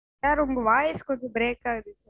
Sir உங்க voice கொஞ்சம் break ஆகுது